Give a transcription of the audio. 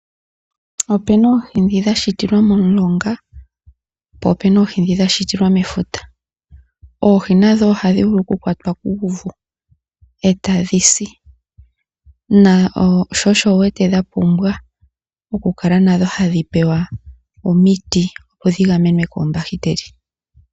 Opena oohi dhoka dha shitilwa momulonga ,po opena oohi dhoka dha shitilwa mefuta. Oohi nadho ohadhi vulu oku kwatwa kuuvu e ta dhi si. Sho, osho dha pumbwa oku kala nadho tadhi pewa omiti, opo dhi gamenwe koombakiteli.